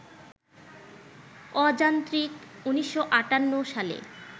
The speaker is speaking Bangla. অযান্ত্রিক ১৯৫৮ সালে